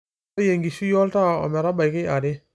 ntadoi enkishui oltaa ometabaiki are